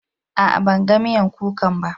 A'a, ban gan miyan kukan ba.